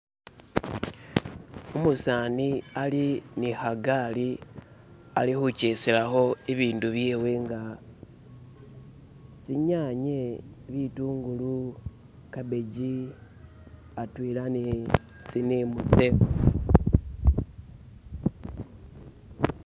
Umusani ali ne khagali alikhukeselakho ibindu byewe nga tsinyanye, bitungulu, cabbage atwela ne tsinimu tsewe